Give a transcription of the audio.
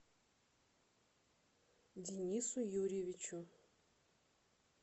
денису юрьевичу